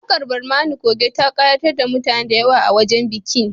Waƙar Barmani Coge ta ƙayatar da mutane da yawa a wajen bikin